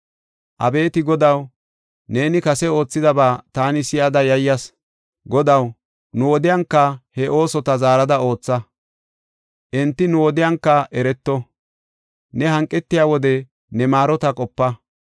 Abeeti Godaw, neeni kase oothidaba taani si7ada yayyas. Godaw, nu wodiyanka he oosota zaarada ootha; enti nu wodiyanka ereto. Ne hanqetiya wode ne maarota qopa.